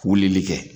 Wulili kɛ